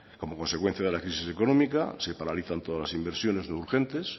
como consecuencia de la crisis económica se paralizan todas las inversiones no urgentes